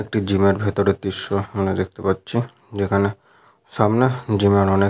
একটি জিম এর ভিতরের দৃশ্য আমরা দেখতে পাচ্ছি। যেখানে সামনে জিম এর অনেক --